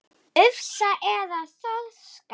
Ufsa eða þorska?